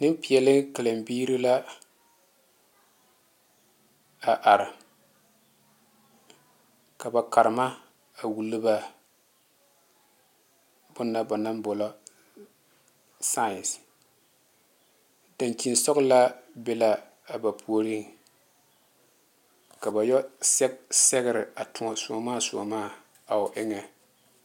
Nempeɛle karembiiri la a are ka ba karema a wulo ba bona ba naŋ boɔlɔ science dankyensɔgelaa be la a ba puoriŋ ka ba yo sɛge sɛgere a tōɔ soɔmaa somaa a o eŋa